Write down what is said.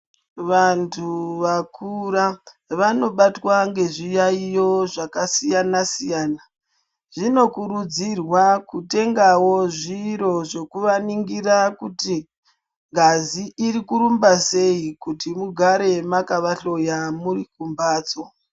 Vantu vakura vaobatwe nezviyayo zvakasiyana siyana zvino kurudzirwa kutengawo zviro zveku vanongira kuti ngazi iri rumba sei kuti mugare maka vahloya kumbatso.